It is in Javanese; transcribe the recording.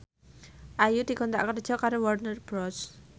Ayu dikontrak kerja karo Warner Bros